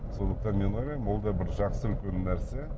сондықтан мен ойлаймын ол да бір жақсы үлкен нәрсе